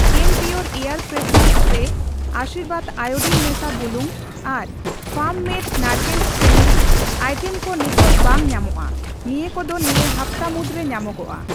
ᱠᱮᱢᱯᱤᱭᱳᱨ air freshener spray, Aashirvaad iodine ᱢᱮᱥᱟ ᱵᱩᱞᱩᱝ ᱟᱨ ᱯᱷᱟᱨᱢ ᱢᱮᱰ ᱱᱟᱲᱠᱳᱞ ᱠᱟᱱᱰᱤ ᱟᱭᱴᱮᱢ ᱠᱚ ᱱᱤᱛᱚᱜ ᱵᱟᱹᱧ ᱧᱟᱢᱚᱜᱼᱟ, ᱱᱤᱭᱟᱹ ᱠᱚ ᱫᱚ ᱱᱤᱭᱟᱹ ᱦᱟᱯᱛᱟ ᱢᱩᱫᱨᱮ ᱧᱟᱢᱚᱜᱚᱜᱼᱟ ᱾